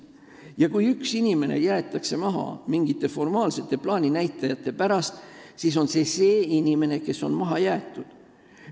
Ja kui üks inimene jäetakse maha mingite formaalsete plaaninäitajate pärast, siis on tegu inimesega, kes on maha jäetud.